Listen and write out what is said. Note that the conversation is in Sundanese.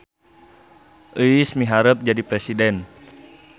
Euis miharep jadi presiden